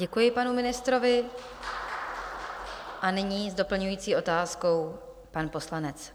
Děkuji panu ministrovi a nyní s doplňující otázkou pan poslanec.